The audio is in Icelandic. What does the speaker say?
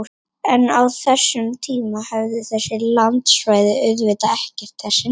En á þessum tíma höfðu þessi landsvæði auðvitað ekki þessi nöfn!